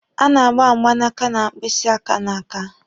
A na-agba mgbanaka na mkpịsị aka n'aka.